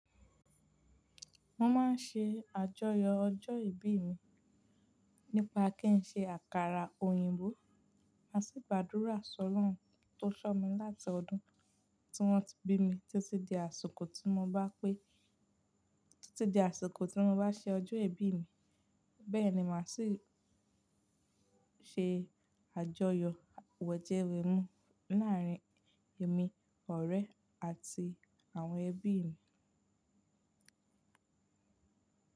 Mo máa ń ṣe àjọyọ̀ ọjọ́ ìbí mi nípa kí n ṣe àkàrà òyìnbó mà si gbádùrá Ṣ'ọ́lorùn tó ṣọ̀ mí láti ọdún tí wọ́n ti bí mi títí di àsìkò tí mo bá pé, títí di àsìkò tí mo bá ṣe ọjọ́ ìbí mi. Bẹ́ẹ̀ ni màá sì ṣe àjọyọ̀ wẹ̀jẹwẹ̀mu láàárín èmi, ọ̀rẹ́ àti àwọn ẹbí mi.